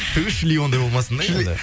өй шли ондай болмасын да енді